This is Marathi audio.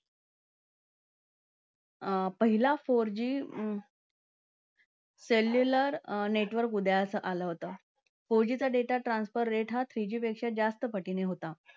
पहिला four G cellular network उदयास आलं होता. four G चा data transfer हा three G पेक्षा जास्त पटीचा होता.